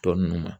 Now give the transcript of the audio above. Tɔ ninnu ma